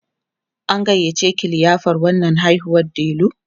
an gayyace ki liyafar rannan haihuwar Delu?